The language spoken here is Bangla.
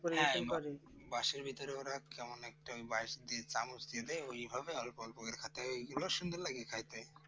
বাসের ভিতর কেমন একটা চামচ দিয়ে দেয় ওইভাবে অল্প অল্প করে খেতে হয়